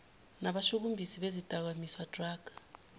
nabashushumbisi bezidakamizwa drug